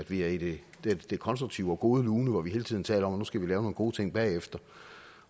vi er i det det konstruktive og gode lune hvor vi hele tiden taler om at nu skal vi lave nogle gode ting bagefter